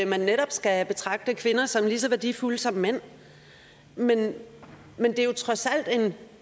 man netop skal betragte kvinder som lige så værdifulde som mænd men det er jo trods alt